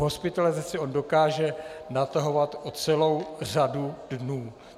Hospitalizaci on dokáže natahovat o celou řadu dnů.